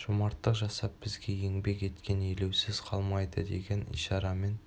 жомарттық жасап бізге еңбек еткен елеусіз қалмайды деген ишарамен